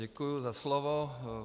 Děkuju za slovo.